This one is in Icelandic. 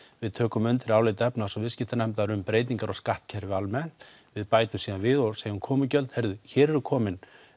við tökum undir álit efnahags og um breytingar á skattkerfinu almennt við bætum síðan við og segjum um komugjöld heyrðu hér eru komin